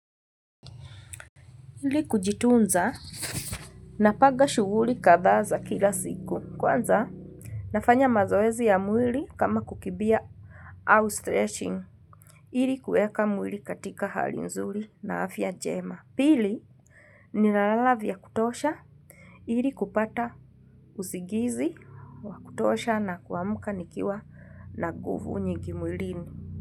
Ili kujitunza, napaga shughuri kadhaa za kila siku. Kwanza, nafanya mazoezi ya mwili kama kukibia au stretching. Ili kueka mwili katika hali nzuri na afya jema. Pili, ninalala vya kutosha. Ili kupata usigizi, wa kutosha na kuamka nikiwa na guvu nyingi mwilini.